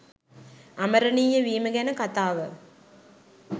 අමරණීය වීම ගැන කතාව